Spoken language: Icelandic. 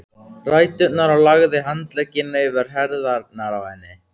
ræturnar og lagði handlegginn yfir herðarnar á henni.